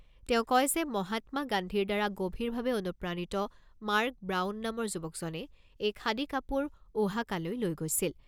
তেওঁ কয় যে, মহাত্মা গান্ধীৰ দ্বাৰা গভীৰভাৱে অনুপ্ৰাণিত মাৰ্ক ব্ৰাউন নামৰ যুৱকজনে এই খাদী কাপোৰ ওহাকালৈ লৈ গৈছিল।